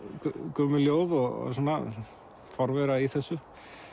gömul ljóð og svona forvera í þessu